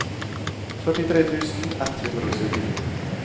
førtitre tusen ett hundre og syttini